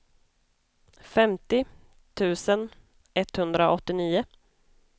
femtio tusen etthundraåttionio